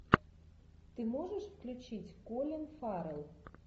ты можешь включить колин фаррелл